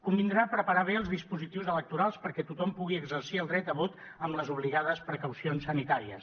convindrà preparar bé els dispositius electorals perquè tothom pugui exercir el dret a vot amb les obligades precaucions sanitàries